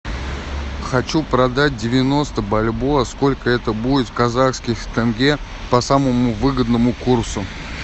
хочу продать девяносто бальбоа сколько это будет в казахских тенге по самому выгодному курсу